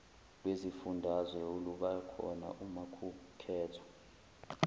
lwezifundazwe olubakhona umakukhethwa